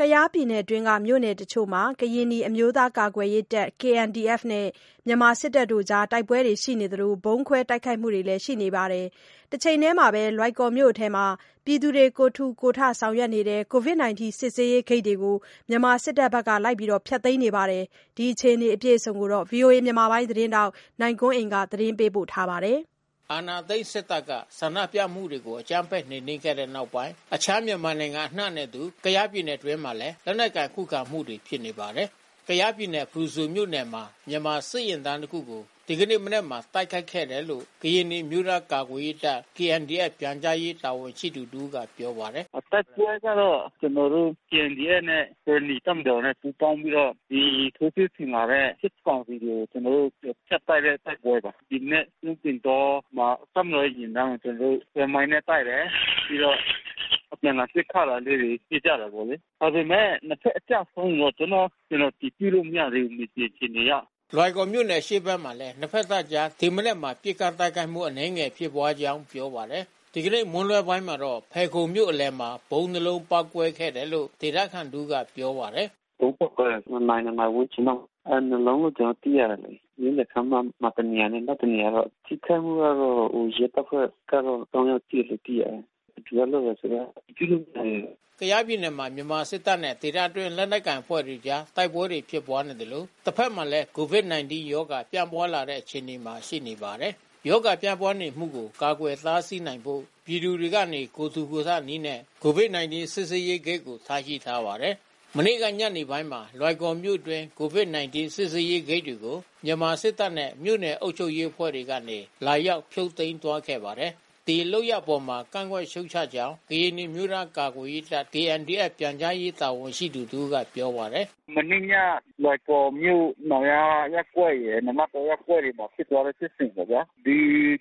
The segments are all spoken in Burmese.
ကယားပြည်နယ်တွင်း မြို့နယ်တချို့မှာ ကရင်နီအမျိုးသားကာကွယ်ရေးတပ် KNDF နဲ့ မြန်မာစစ်တပ်အကြား တိုက်ပွဲတွေရှိနေသလို ဗုံးခွဲတိုက်ခိုက်မှုတွေလည်းရှိနေပါတယ်။ တချိန်တည်းမှာတော့ လွိုင်ကော်မြို့အတွင်း ပြည်သူတွေကိုယ်ထူကိုယ်ထ ဆောင်ရွက်နေတဲ့ Covid19 စစ်ဆေးရေးဂိတ်တွေကို မြန်မာစစ်တပ်က ဖျက်သိမ်းနေပါတယ်။ ဒီအခြေအနေတွေကို ဗွီအိုအေ သတင်းထောက် နိုင်ကွန်းအိန်ကနေပြောပြပေးမှာပါ။ အာဏာသိမ်းစစ်တပ်က ဆန္ဒပြမှုတွေကို အကြမ်းဖက်နှိမ်နင်းခဲ့တဲ့နောက်ပိုင်း အခြားမြန်မာနိုင်ငံအနှံနဲ့အတူ ကယားပြည်နယ်တွင်းမှာလည်း လက်နက်ကိုင်ခုခံမှုတွေ ဖြစ်နေပါတယ်။ ကယားပြည်နယ်ဖရူဆိုမြို့နယ်မှာ မြန်မာစစ်ယာဉ်တန်းတခုကို ဒီနေ့မနက်မှာ တိုက်ခိုက်ခဲ့တယ်လို့ ကရင်နီအမျိုးသား ကာကွယ် ရေးတပ် ပြန်ကြားရေးတာဝန်ရှိသူတဦးကပြောပါတယ်။ “တိုက်ပွဲကတော့ ကျွန်တော်တို့KNDFနဲ့ ကရင်နီတပ်မတော်နဲ့ပူးပေါင်းပြီးတော့ ဒီထိုးစစ်ဆင်လာတဲ့စစ်ကောင်စီကို ကျွန်တော် တို့ဖြတ်တိုက်တဲ့တိုက်ပွဲပါ။ ဒီမနက် ကျွန်းပင်တောမှာ တပ်မတော်ရဲ့ယာဉ်တန်းကိုကျွန်တော်တို့ဆွဲမိုင်းနဲ့တိုက်တယ်။ ပြီးတော့ အပြန်အလှန် ပစ်ခတ် တာလေးတွေဖြစ်ကြတာပေါ့လေ။ ဒါပေမဲ့နှစ်ဖက်အကျဆုံးကိုတော့အတည်ပြုလို့ မရသေးဘူး မြေပြင် အခြေအနေအရ။ ” လွိုင်ကော်မြို့နယ်အရှေ့ဘက်မှာလဲ နှစ်ဖက်တပ်အကြား ဒီမနက်မှာပစ်ခတ်တိုက်ခိုက်မှုအနည်းငယ်ဖြစ်ပွါးကြောင်းပြောပါတယ်။ ဒီကနေ့မွန်းလွှဲပိုင်းမှာတော့ ဖယ်ခုံမြို့အလယ်မှာဗုံးနှစ်လုံးပေါက်ကွဲခဲ့တယ်လို့ ဒေသခံတဦးကပြောပါတယ်။ “ ဗုံးပေါက်ကွဲတာ။ နှစ်နာရီ နှစ်နာရီဝန်းကျင်လောက်မှာ။ နှစ်လုံးလို့ကျွန်တော်တို့သိရတယ်လေ။ မြို့လယ်ခန်းမမှာတနေရာ နောက်တနေရာပေါ့။ ထိခိုက်မှုကတော့ ရဲတပ်ဖွဲ့ကတော့ ယောက်ထိတယ်လို့သိရတယ်။ ဘယ်သူကလုပ်တယ်ဆိုတာ အတည်ပြုလို့မရသေးဘူး။ ” ကယားပြည်နယ်မှာ မြန်မာစစ်တပ်နဲ့ ဒေသတွင်းလက်နက်ကိုင်အဖွဲ့တွေအကြားတိုက်ပွဲတွေဖြစ်ပွါးနေသလို တဖက်မှာလဲကိုဗစ်-၁၉ ရောဂါပြန့်ပွါးလာတဲ့အခြေအနေမှာရှိနေပါတယ်။ ရောဂါပြန့်ပွါးနေမှုကို ကာကွယ်တားဆီးနိုင်ဖို့ ပြည်သူတွေကနေ ကိုယ်ထူ ကိုယ်ထနည်းနဲ့ ကိုဗစ်-၁၉ စစ်ဆေးရေးဂိတ်တွေကို ထားရှိထားပါတယ်။ မနေ့ကညနေပိုင်းမှာ လွိုင်ကော်မြို့အတွင်းကိုဗစ်-၁၉ စစ်ဆေးရေးဂိတ်တွေကို စစ်တပ်နဲ့မြို့နယ်အုပ်ချုပ်ရေး အဖွဲ့ကနေ လာ ရောက်ဖြုတ်သိမ်းသွားခဲ့ပါတယ်။ ဒီလုပ်ရပ်အပေါ်ကန့်ကွက်ရှုတ်ချကြောင်း ကရင်နီအမျိုးသားကာကွယ်ရေးတပ် ပြန်ကြားရေး တာဝန်ရှိသူ တဦးက ပြောပါတယ်။ “ မနေ့ည လွိုင်ကော်မြို့နောင်ယားရပ်ကွက်ရယ် နာနတ်တောရပ်ကွက်တွေမှာဖြစ်ပွါးတဲ့ ဖြစ်စဉ်ပေါ့ဗျာ။ ဒီ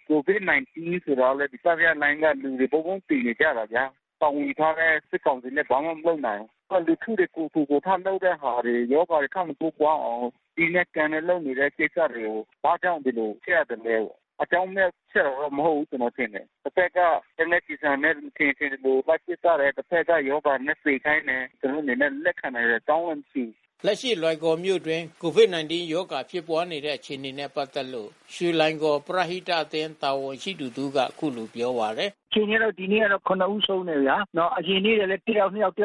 ကိုဗစ်-၁၉ဆိုတာကလဲ တတိယလှိုင်းက လူတွေတဘုံးဘုံးသေနေကြတယ်ဗျာ။ တာဝန်ယူထားတဲ့စစ်ကောင်စီလဲ ဘာမှမလုပ်နိုင်ဘူး။ နောက်လူထု တွေကိုယ်ထူကိုယ်ထလုပ်တဲ့ဟာတွေ ရောဂါတွေထပ်မတိုးပွါးအောင် စည်းမဲ့ကမ်းမဲ့လုပ်နေတဲ့ကိစ္စတွေကို ဘာကြောင့်ဒီလို ဖျက် ရသလဲပေါ့။ အကြောင်းမဲ့သက်သက်မဟုတ်ဘူးကျွန်တော်ထင်တယ်။ တဖက်ကလက်နက်ကျည်ဆံနဲ့ မထင်ရင်မထင်သလို လိုက် ပစ်သတ်တယ်။ တဖက်ကရောဂါနဲ့သေခိုင်းတယ်။ ကျွန်တော်တို့အနေနဲ့လက်ခံနိုင်စရာအကြောင်းမှမရှိဘူး။” လက်ရှိလွိုင်ကော်မြို့နယ်အတွင်း ကိုဗစ်-၁၉ ရောဂါဖြစ်ပွါးနေတဲ့အခြေအနေနဲ့ပက်သက်လို့ ရွှေလွိုင်ကော်ပရဟိတအသင်း တာဝန်ရှိသူတဦးကအခုလိုပြောပါတယ်။ “ အခြေအနေကတော့ ဒီနေ့ကတော့ ဦးဆုံးတယ်ဗျာ။ အရင်နေ့ကလဲ တယောက်နှစ်ယောက်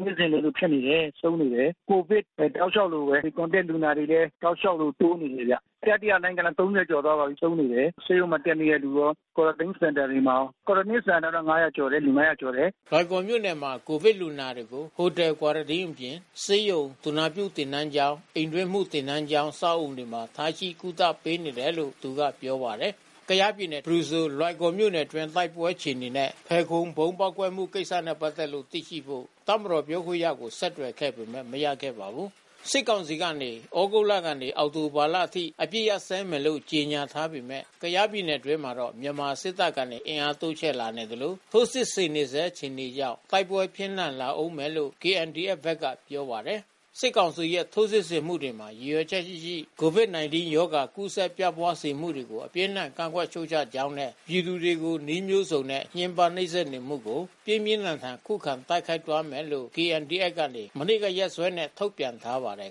နေ့စဉ်လိုလိုဖြစ်နေတယ်။ ဆုံးနေတယ်။ ကိုဗစ်တောက်လျှောက်လိုဘဲ။ ဒီContact လူနာတွေလဲ တောက်လျှောက်လိုတိုးနေတယ်ဗျ။ တတိယလှိုင်းကျတော့ ကျော်သွားပါပြီးဆုံးနေတယ်။ ဆေးရုံမှာတက်နေတဲ့သူရာ Quarantine စင်တာတွေမှာရော။ Quarantineစင်တာတွေမှာက လူ ကျော်တယ်။ ” လွိုင်ကော်မြို့နယ်မှာ ကိုဗစ်လူနာတွေကို Hotel Quarantine အပြင်ဆေးရုံ သူနာပြုသင်တန်းကျောင်း အိမ်တွင်းမှုသင်တန်း ကျောင်း အဆောက်အဦတွေမှာထားရှိကုသပေးနေတယ်လို့သူကပြောပါတယ်။ ကယားပြည်နယ်ဖရူဆိုလွိုင်ကော်မြို့နယ်အတွင်းတိုက်ပွဲအခြေအနေနဲ့ ဖယ်ခုံဗုံးပေါက်ကွဲတဲ့ကိစ္စနဲ့ပက်သက်လို့ သိရှိဖို့ တပ်မတော်ပြောခွင့်ရကိုဆက်သွယ်ခဲ့ ပေမဲ့ မရခဲ့ပါဘူး။ စစ်ကောင်စီကနေ ဩဂုတ်ကနေ အောက်တိုဘာလအထိ အပစ်ခတ်ရပ်စဲမယ်လို့ ကြေညာထားပေမယ့် ကယားပြည်နယ် အတွင်းမှာတော့ မြန်မာစစ်တပ်ကနေအင်အားတိုးချဲ့လာနေသလို ထိုးစစ် ဆင်နေဆဲအခြေအနေကြောင့် တိုက်ပွဲပြင်းထန် လာဦးမယ်လို့ ဘက်ကပြောပါတယ်။ စစ်ကောင်စီရဲ့ ထိုးစစ်ဆင်မှုတွေမှာ ရည်ရွယ်ချက်ရှိရှိ ကိုဗစ်-၁၉ ရောဂါ ကူးစက်ပြန့်ပွားစေမှုတွေကို အပြင်းအထန် ကန့်ကွက် ရှုတ်ချကြောင်းနဲ့ ပြည်သူတွေကို နည်းမျိုးစုံနဲ့ ညှဉ်းပန်းနှိပ်စက်နေမှုတွေကို ပြင်းပြင်းထန်ထန် ခုခံတိုက်ခိုက်သွားမယ်လို့ KNDF က မနေ့ကရက်စွဲနဲ့ထုတ်ပြန်ထားပါတယ်